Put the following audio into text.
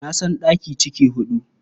Na san ɗaki ciki huɗu.